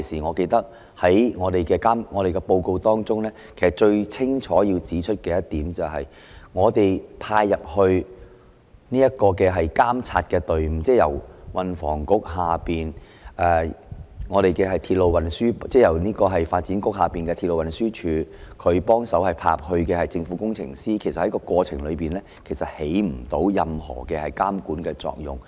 我記得我們當時的報告中，最清楚指出的一點是，派遣進行監察工作的隊伍，即由路政署轄下的鐵路拓展處派遣的政府工程師，其實在過程中產生不到任何監管作用，不能及早作出預警，讓局長掌握形勢變化。